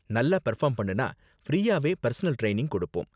நல்லா பெர்ஃபார்ம் பண்ணுனா ஃப்ரீயாவே பெர்சனல் ட்ரைனிங் கொடுப்போம்.